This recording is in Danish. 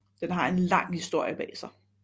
Den har en lang historie bag sig